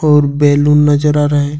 और बैलून नजर आ रहे--